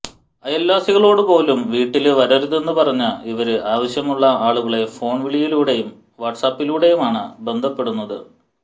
അയല്വാസികളോടുപോലും വീട്ടില് വരരുതെന്നു പറഞ്ഞ ഇവര് ആവശ്യമുള്ള ആളുകളെ ഫോണ് വിളിയിലൂടെയും വാട്സാപ്പിലൂടെയുമാണ് ബന്ധപ്പെടുന്നത്